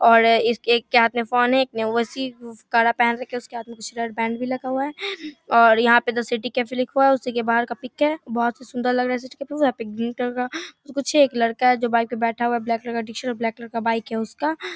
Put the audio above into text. और इसके एक के हाथ में फोन है| कड़ा पहन रखा है उसके हाथ में कुछ रबड़ बैंड भी लगा हुआ है और यहाँ पे सिटी कैफ़े लिखा हुआ है उसी के बाहर का पिक है बहुत ही सुंदर लग रहा | एक लड़का है जो बाइक पर बैठा हुआ है ब्लैक कलर का टी-शर्ट और ब्लैक कलर का बाइक है उसका ।